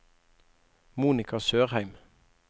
Monika Sørheim